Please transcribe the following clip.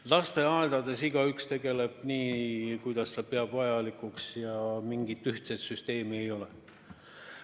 Lasteaedades tegeleb igaüks asjaga nii, kuidas ta vajalikuks peab, mingit ühtset süsteemi ei ole.